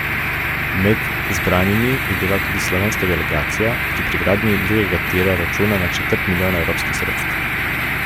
Med zbranimi je bila tudi slovenska delegacija, ki pri gradnji drugega tira računa na četrt milijona evropskih sredstev.